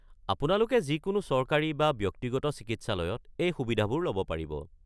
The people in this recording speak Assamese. আপোনালোকে যিকোনো চৰকাৰী বা ব্যক্তিগত চিকিৎসালয়ত এই সুবিধাবোৰ ল'ব পাৰিব।